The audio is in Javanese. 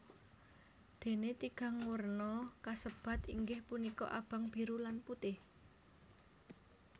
Dene tigang werna kasebat inggih punika abang biru lan putih